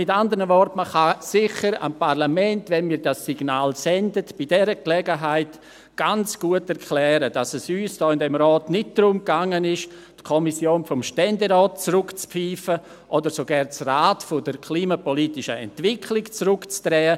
Mit anderen Worten: Man kann dem Parlament sicher, wenn wir dieses Signal aussenden, bei dieser Gelegenheit ganz gut erklären, dass es uns hier im Rat nicht darum gegangen ist, die Kommission des Ständerats zurückzupfeifen oder sogar das Rad der klimapolitischen Entwicklung zurückzudrehen.